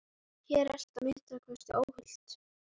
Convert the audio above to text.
Ég er óhræddur, sagði Erlendur og glotti.